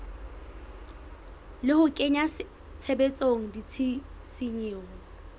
le ho kenya tshebetsong ditshisinyo